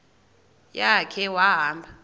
ya khe wahamba